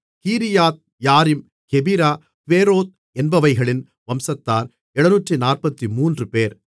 கீரியாத்யாரீம் Chephirah Beeroth என்பவைகளின் வம்சத்தார் 743 பேர்